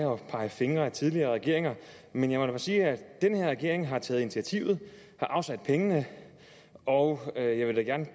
pege fingre ad tidligere regeringer men jeg må da sige at den her regering har taget initiativet har afsat pengene og og jeg vil da gerne